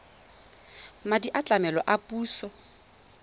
madi a tlamelo a puso